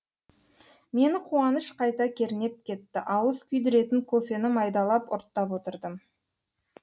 мені қуаныш қайта кернеп кетті ауыз күйдіретін кофені майдалап ұрттап отырдым